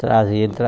Trazia, ele